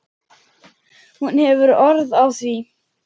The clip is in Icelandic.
Hún hefur orð á því.